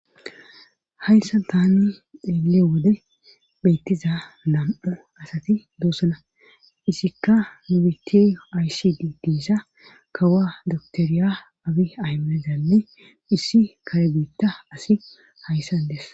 hayssa tani xeele wode beettiza nam7o asati doosana isikka nu bite aysidii diisa kawa doktoriya abi aymedanne issi karebeitta asi hayssan dess